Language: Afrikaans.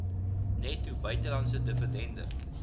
netto buitelandse dividende